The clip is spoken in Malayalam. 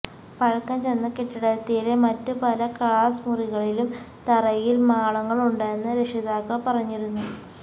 പഴക്കം ചെന്ന കെട്ടിടത്തിലെ മറ്റു പല ക്ലാസ് മുറികളിലും തറയിൽ മാളങ്ങളുണ്ടെന്ന് രക്ഷിതാക്കൾ പറഞ്ഞിരുന്നു